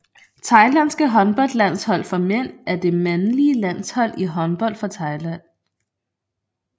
Thailands håndboldlandshold for mænd er det mandlige landshold i håndbold for Thailand